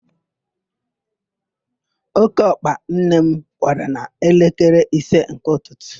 Ókéọkpa nne m kwara n'elekere ise nke ụtụtụ